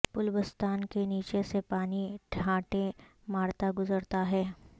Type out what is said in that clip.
پل بستاں کے نیچے سے پانی ٹھاٹھیں مارتا گزرتا ہے